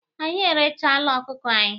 Anyị erechala ọkụkọ anyị.